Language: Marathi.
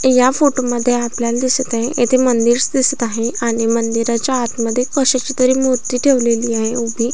या फोटो मध्ये आपल्याल दिसत आहे येथे मंदिरस दिसत आहे आणि मंदिराच्या आतमध्ये कशाचीतरी मूर्ती ठेवलेली आहे उभी.